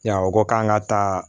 Yan o ko k'an ka taa